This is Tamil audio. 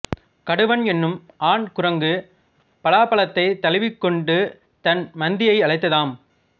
கடுவன் என்னும் ஆண் குரங்கு பலாப்பழத்தைத் தழுவிக்கொண்டு தன் மந்தியை அழைத்ததாம்